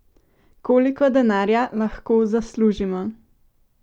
Koliko denarja lahko zaslužimo?